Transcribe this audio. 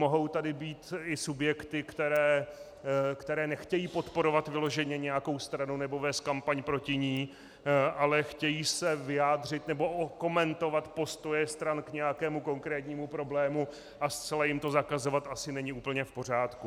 Mohou tady být i subjekty, které nechtějí podporovat vyloženě nějakou stranu nebo vést kampaň proti ní, ale chtějí se vyjádřit nebo okomentovat postoje stran k nějakému konkrétnímu problému, a zcela jim to zakazovat asi není úplně v pořádku.